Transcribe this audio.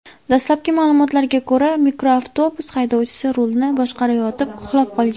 Dastlabki ma’lumotlarga ko‘ra, mikroavtobus haydovchisi rulni boshqarayotib uxlab qolgan.